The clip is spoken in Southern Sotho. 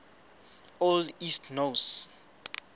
old east norse